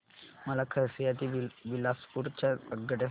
मला खरसिया ते बिलासपुर च्या आगगाड्या सांगा